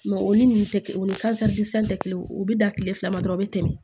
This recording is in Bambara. o ni nunnu tɛ kelen o ni tɛ kelen ye o be da kile fila ma dɔrɔn o be tɛmɛ